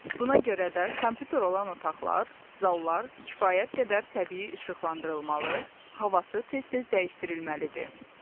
Buna görə də kompyuter olan otaqlar, zallar kifayət qədər təbii işıqlandırılmalı, havası tez-tez dəyişdirilməlidir.